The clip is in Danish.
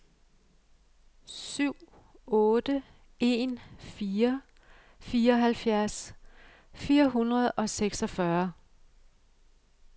syv otte en fire fireoghalvfjerds fire hundrede og seksogfyrre